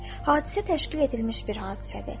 Hadisə təşkil edilmiş bir hadisədir.